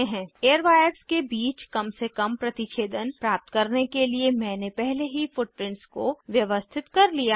airwires के बीच कम से कम प्रतिच्छेदन प्राप्त करने के लिए मैंने पहले ही फुटप्रिंट्स को व्यवस्थित कर लिया है